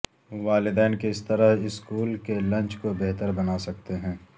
والدین کس طرح اسکول کے لنچ کو بہتر بنا سکتے ہیں